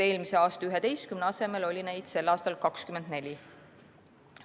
Eelmise aasta 11 asemel oli neid sel aastal 24.